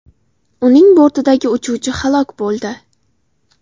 Uning bortidagi uchuvchi halok bo‘ldi.